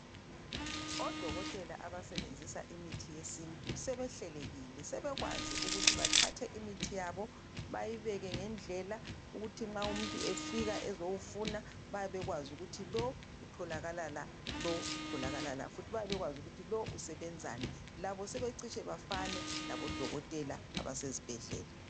Odokotela abasebenzisa imithi yesintu sebehlelekile, sebekwazi ukuthi bathathe imithi yabo beyibeke ngendlela, ukuthi nxa umuntu efika ezowufuna bayabe ubekwazi ukuthi lo utholakala la, lo utholakala la futhi bayabe bekwazi ukuthi lo usebenzani. Labo sebecitshe befane labodokotela ezibhedlela.